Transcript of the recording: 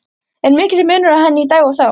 Er mikill munur á henni í dag og þá?